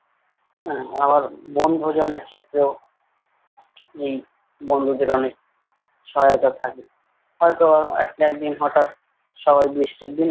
আহ আবার বনভোজনের ক্ষেত্রেও এই বন্ধুদের অনেক সহায়তা থাকে হয়তো এক একদিন হঠাৎ সবাই বৃষ্টির দিন।